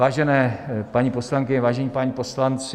Vážené paní poslankyně, vážení páni poslanci.